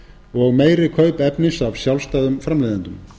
og meiri kaup efnis af sjálfstæðum framleiðendum